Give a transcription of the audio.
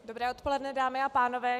Dobré odpoledne, dámy a pánové.